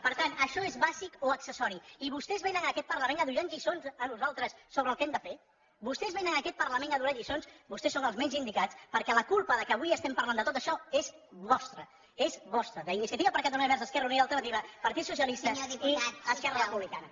per tant això és bàsic o accessori i vostès vénen a aquest parlament a donar nos lliçons a nosaltres sobre el que hem fer vostès vénen a aquest parlament a donar lliçons vostès són els menys indicats perquè la culpa que avui estiguem parlem de tot això és vostra és vostra d’iniciativa per catalunya verds esquerra unida i alternativa partit socialista i esquerra republicana